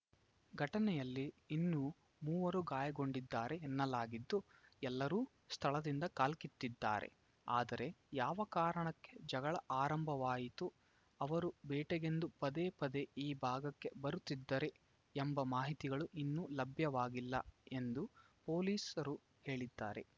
ಘಟನೆಯಲ್ಲಿ ಇನ್ನೂ ಮೂವರು ಗಾಯಗೊಂಡಿದ್ದಾರೆ ಎನ್ನಲಾಗಿದ್ದು ಎಲ್ಲರೂ ಸ್ಥಳದಿಂದ ಕಾಲ್ಕಿತ್ತಿದ್ದಾರೆ ಆದರೆ ಯಾವ ಕಾರಣಕ್ಕೆ ಜಗಳ ಆರಂಭವಾಯಿತು ಅವರು ಬೇಟೆಗೆಂದು ಪದೇ ಪದೆ ಈ ಭಾಗಕ್ಕೆ ಬರುತ್ತಿದ್ದರೇ ಎಂಬ ಮಾಹಿತಿಗಳು ಇನ್ನೂ ಲಭ್ಯವಾಗಿಲ್ಲ ಎಂದು ಪೊಲೀಸರು ಹೇಳಿದ್ದಾರೆ